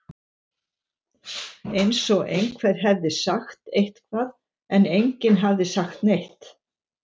eins og einhver hefði sagt eitthvað, en enginn hafði sagt neitt.